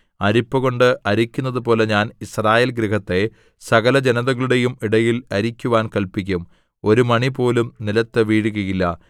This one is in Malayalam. അരിപ്പകൊണ്ട് അരിക്കുന്നതുപോലെ ഞാൻ യിസ്രായേൽഗൃഹത്തെ സകലജനതകളുടെയും ഇടയിൽ അരിക്കുവാൻ കല്പിക്കും ഒരു മണിപോലും നിലത്തു വീഴുകയില്ല